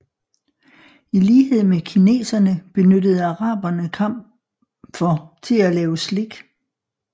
I lighed med kineserne benyttede arabene kamfer til at lave slik